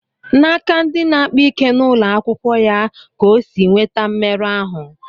N'aka ndi na-akpa ike n'ụlọ akwụkwọ ya ka O sì nweta mmerụ ahụ